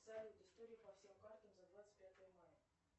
салют история по всем картам за двадцать пятое мая